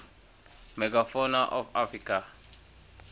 megafauna of africa